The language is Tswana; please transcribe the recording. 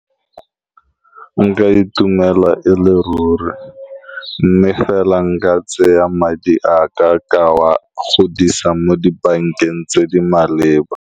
Nka itumela e le ruri, mme fela nka tsaya madi a ka, ka wa godisa mo dibankeng tse di maleba.